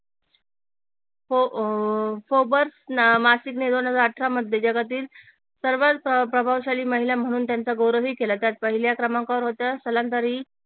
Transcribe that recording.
मासिकने दोन हजार अठरामध्ये जगातील सर्वात प्रभावशाली महिला म्हणून त्यांचा गौरव ही केला त्यात पहिल्या क्रमांकावर होत्या